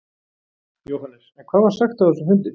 Jóhannes: En hvað var sagt á þessum fundi?